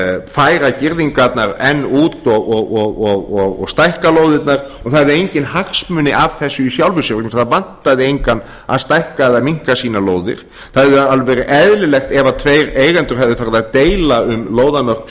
færa girðingarnar enn út og stækka lóðirnar og það hefði enginn hagsmuni af þessu í sjálfu sér vegna þess að það vantaði engan að stækka eða minnka sínar lóðir það hefði verið alveg eðlilegt ef tveir eigendur hefðu farið að deila um lóðarmörk